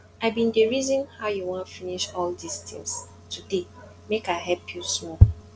i bin dey reason how you wan take finish all dis things today make i help you small